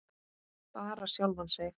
Bara sjálfan sig.